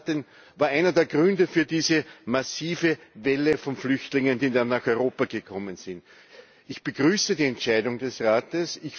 Das war einer der Gründe für diese massive Welle von Flüchtlingen, die dann nach Europa gekommen sind. Ich begrüße die Entscheidung des Rates.